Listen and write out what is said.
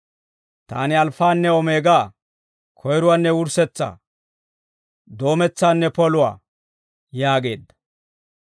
Taani Alfaanne Omeegaa; Koyruwaanne Wurssetsaa; Doometsaanne Poluwaa» yaageedda.